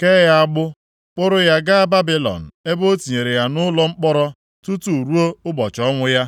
kee ya agbụ, kpụrụ ya gaa Babilọn, ebe o tinyere ya nʼụlọ mkpọrọ tutu ruo ụbọchị ọnwụ ya.